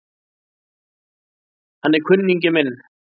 Hann er kunningi minn